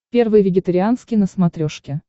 первый вегетарианский на смотрешке